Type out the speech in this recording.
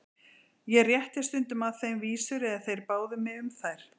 Ég rétti stundum að þeim vísur eða þeir báðu mig um þær.